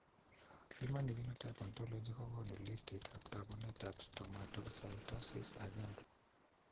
Human phenotype ontology kokoonu listiitab taakunetaab Stomatocytosis I.